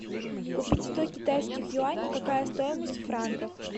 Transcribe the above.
купить сто китайских юаней какая стоимость в франках